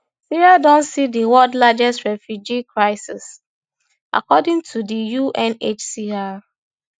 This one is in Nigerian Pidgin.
syria don see di world largest refugee crisis according to di unhcr